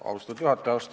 Austatud juhataja!